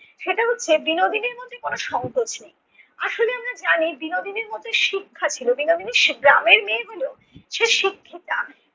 সেটা হচ্ছে বিনোদিনীর মধ্যে কোনো সংকোচ নেই। আসলে আমরা জানি বিনোদিনীর মধ্যে শিক্ষা ছিল। বিনোদিনী গ্রামের মেয়ে হলেও সে শিক্ষিতা।